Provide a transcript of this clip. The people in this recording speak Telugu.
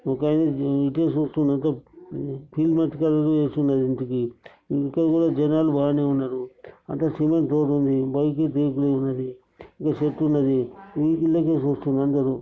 ఒక ఆమె ఇటే చూస్తున్నది చేస్తున్నారు. ఇంటికి ఇంకేందిగా జనాలు బానే ఉన్నారు. అటు కిరణా షాప్ ఉంది. బైక్ కు బయటనే ఉంది. ఇడా చెట్టు ఉన్నది. ఇల్లు కెళ్ళే చూస్తునారు అందరూ.